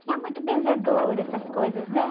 Tinha muito benzedor, essas coisas, né?